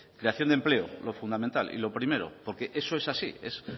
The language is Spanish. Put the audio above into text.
creación de empleo lo fundamental y lo primero porque eso es así